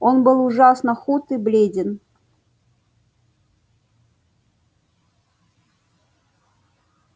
он был ужасно худ и бледен